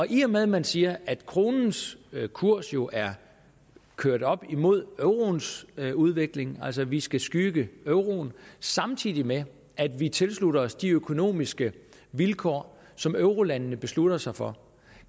i og med at man siger at kronens kurs jo er kørt op imod euroens udvikling altså at vi skal skygge euroen samtidig med at vi tilslutter os de økonomiske vilkår som eurolandene beslutter sig for